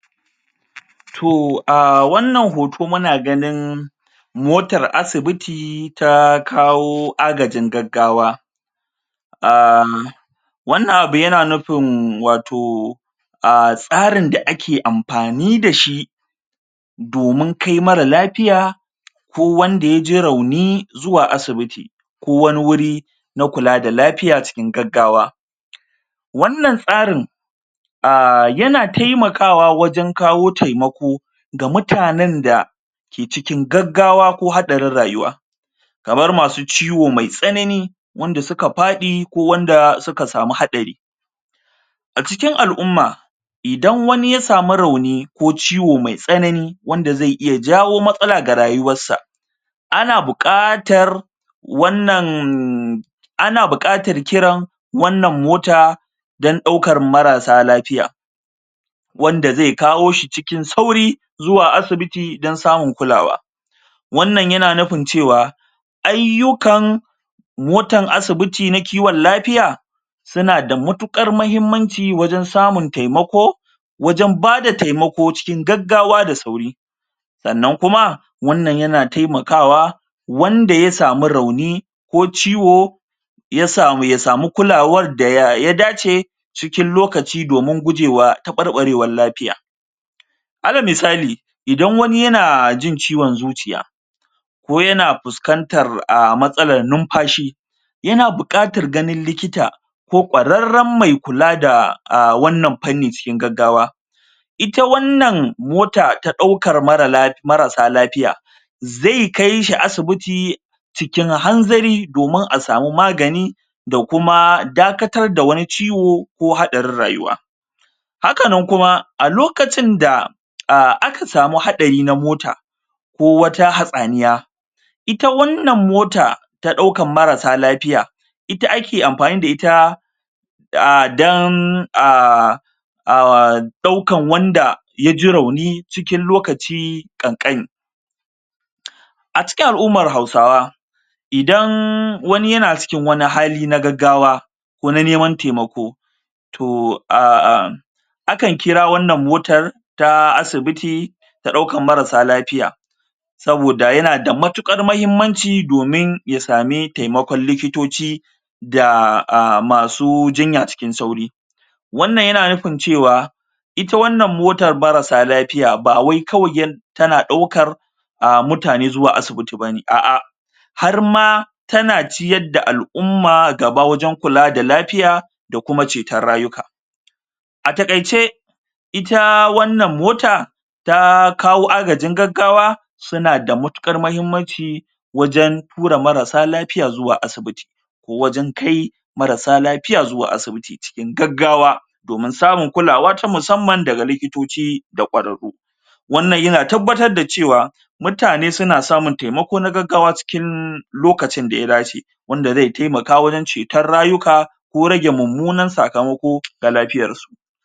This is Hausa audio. toh a wannan hoto muna ganin motar asibiti ta kawo agajin gaggawa um wannan abu yana nufi watau umtsarin da ake amfani da shi domin kai mara lafiya ko wanda ya je rauni zuwa asibiti kowani wuri na kula da lafiya cikin gaggawa wannan tsarin um yana taimakawa wajen kawo taimako ga mutanen da ke cikin gaggawa ko hadarin rayuwa kamar masu ciwo mai tsanani wanda su ka fadi ko wanda suka samu hatsari a cikin al'uma idan wani ya samu rauni ko ciwo mai tsanani wanda zai iya jawo matsala ga rayuwar sa ana bukatar wannan ana bukatar kiran wannan mota dan dauka marasa lafiya wanda zai kawo shi cikin sauri zuwa asibiti dan samun kulawa wannan yana nufin cewa ayukan motan asibiti na kiwon lafiya suna da matukar mahimmanci wajen samun taimako wajen ba d taimako cikin gaggawa da sauri sannan kumawannan yana taimakawa wanda ya samu rauni ko ciwo ya samu kulawar da ya dace cikin lokaci domin gujewa tabarbarewan lafiya ana misali idan wani yana jin ciwon zuciya ko yana fuskantar a masala numfashi yana bukatar gani likita ko kwararan mai kula da um wannan fannin cikin gaggawa ita wannan motan daukar marasa lafiya zai kai shi asibiti cikin hanzari domin a samu magani da kuma dakatar da waniciwo ko hadarin rayuwa hakanan kuma a lokacin da um aka samu hadari na mota ko wata hatsaniya ita wannan mota ta dauka marasa lafiya ita ake amfani da ita um dan um um daukan wanda ya ji rauni cikin lokaci kankani a cikin al'uman hausawa idan wani yana cikin wani hali na gaggawa ko na neman taimako to um akan kira wannan motan ta asibiti ta dauka marasa lafiya soboda yana da matukar mahimmanci domin ya sami taimakon likitoci da masu jinya cikin sauri wannan yana nufin cewa ita wannan motan marasa lafiya ba wai tana daukar um mutane zuwa asibiti bane a a har ma ta na ciyar da al'uma gaba wajen kula da lafiya da kuma cetan rayuka a takaice ita wannan mota ta kawo agajin gaggawa suna da matukar mahimmanci wajen tura marasa lafiya zuwa asibiti ko wajen kai marasa lafiya zuwa asibiti cikin gaggawa domin samun kulawa ta musamman daga likitoci da kwararu wannan ya na tabbata da cewa mutane na samun taimakon gaggawa cikin lokacin da ya dace wande zai taimaka wajen cetan rayyuka ko rage mumunan tsakamoka ga lafiyarsu